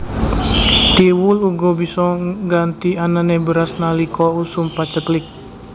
Thiwul uga bisa ngganti anané beras nalika usum paceklik